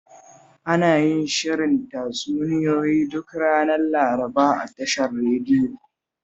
Ana yin shirin tatsuniyoyi duk ranar Laraba a tashar radiyon